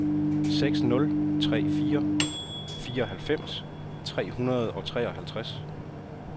seks nul tre fire fireoghalvfems tre hundrede og treoghalvtreds